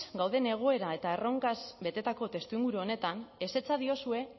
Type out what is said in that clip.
gauden egoera eta erronkaz betetako testuinguru honetan ezetza diozue